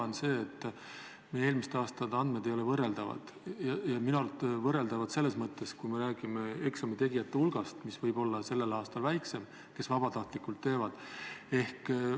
See on see, et meie eelmiste aastate andmed ei ole võrreldavad – võrreldavad selles mõttes, et eksamitegijate hulk võib sellel aastal olla väiksem, sest teevad ainult vabatahtlikud.